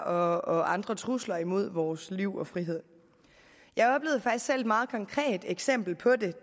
og andre trusler imod vores liv og frihed jeg oplevede faktisk selv et meget konkret eksempel på det